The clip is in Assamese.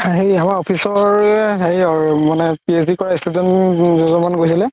হেৰি আমাৰ office ৰ হেৰি আৰু মানে PhD কৰা student কেইজন মান গৈছিলে